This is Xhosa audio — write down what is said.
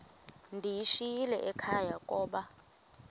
ndiyishiyile ekhaya koba